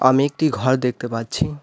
আমি একটি ঘর দেখতে পাচ্ছি।